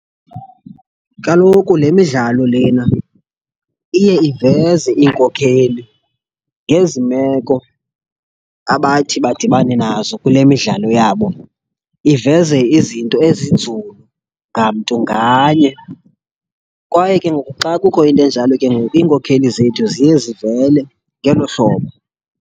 Kaloku le midlalo lena iye iveze iinkokheli ngezi meko abathi badibane nazo kule midlalo yabo, iveze izinto ezinzulu ngamntu nganye. Kwaye ke ngoku xa kukho into enjalo ke ngoku iinkokheli zethu ziye zivele ngelo hlobo.